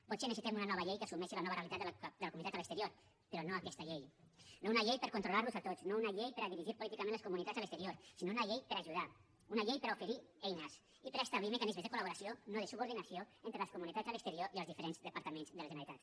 potser necessitem una nova llei que assumeixi la nova realitat de la comunitat a l’exterior però no aquesta llei no una llei per controlar los a tots no una llei per a dirigir políticament les comunitats a l’exterior sinó una llei per a ajudar una llei per a oferir eines i per a establir mecanismes de col·laboració no de subordinació entre les comunitats a l’exterior i els diferents departaments de la generalitat